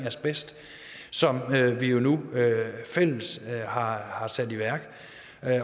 asbest som vi jo nu fælles har har sat i værk